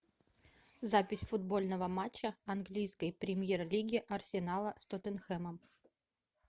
запись футбольного матча английской премьер лиги арсенала с тоттенхэмом